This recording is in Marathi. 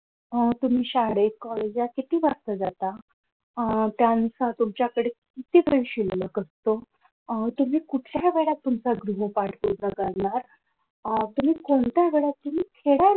अह तुम्ही शाळेत college त किती वाजता जाता? अह त्यांचा तुमच्याकडे किती वेळ शिल्लक असतो तुम्ही कुठच्या वेळेत तुमचा गृहपाठ पूर्ण करणार अह तुम्ही कोणत्या वेळात तुम्ही खेळायला